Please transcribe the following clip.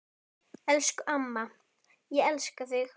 Elsku amma, ég elska þig.